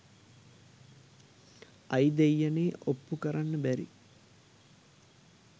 අයි දෙයියනේ ඔප්පු කරන්ඩ බැරි